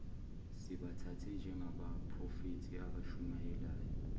sibathathe njengabaphrofethi abashumayela